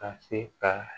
Ka se ka